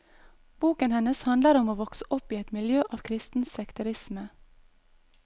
Boken hennes handler om å vokse opp i et miljø av kristen sekterisme.